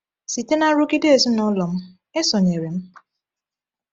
Site na nrụgide ezinụlọ m, e sonyere m.